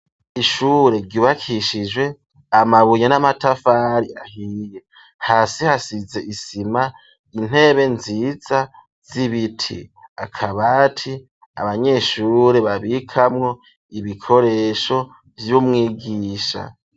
Ishure ryubakishije amabuye n'amatafari ahiye hasi hasize isima intebe nziza z'ibiti akabati abanyeshure babikamwo ibikoresho vy'umwigisha